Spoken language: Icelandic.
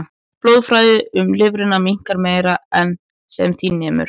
Blóðflæði um lifrina minnkar meira en sem því nemur.